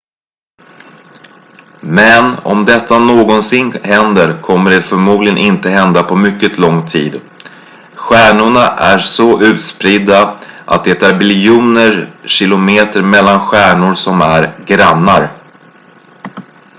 "men om detta någonsin händer kommer det förmodligen inte hända på mycket lång tid. stjärnorna är så utspridda att det är biljoner kilometer mellan stjärnor som är "grannar"".